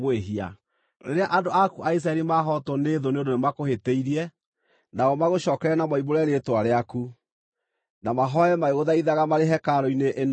“Rĩrĩa andũ aku a Isiraeli mahootwo nĩ thũ nĩ ũndũ nĩmakũhĩtĩirie, nao magũcookerere na moimbũre rĩĩtwa rĩaku, na mahooe magĩgũthaithaga marĩ hekarũ-inĩ ĩno-rĩ,